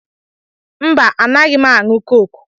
Mba, anaghị m aṅụ kọkụ.